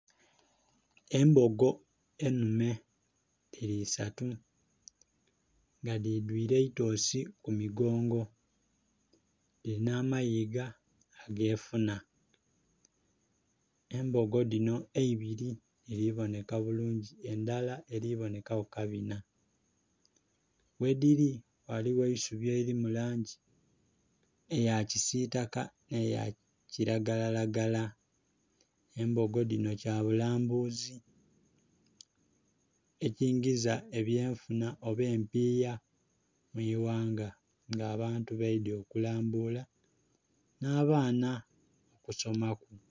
Embogo enhume dhili isatu nga dhidhwire eitosi ku migongo, dhilina amayiga agefuna, embogo dhino eibili dhili boneka bulungi endhala eli bonekaku kabina. Ghedhili ghaligho eisubi eliri mu langi eya kisiitaka n'eya kiragalalagala. Embogo dhino kyabulambuzi ekingiza ebyenfuna oba empiya mu ighanga nga abantu baidhye okulambula n'abaana okusomaku.